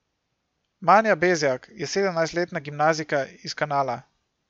Manja Bezjak je sedemnajstletna gimnazijka iz Kanala.